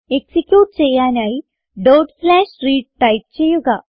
execute ചെയ്യാനായി read type ചെയ്യുക